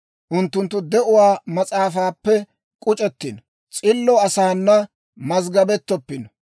Unttunttu de'uwaa mas'aafaappe k'uc'ettino; s'illo asaana mazggabettoppino.